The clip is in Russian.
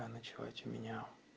а ночевать у меня